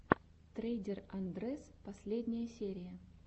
трейдер андрэс последняя серия